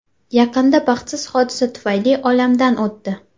Yaqinda baxtsiz hodisa tufayli olamdan o‘tdi.